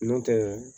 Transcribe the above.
Nɔntɛ